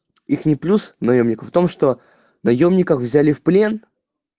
их не плюс наёмника в том что даём никак взяли в плен